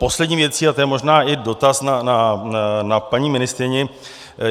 Poslední věcí, a to je možná i dotaz na paní ministryni.